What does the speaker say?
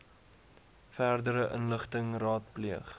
verdere inligting raadpleeg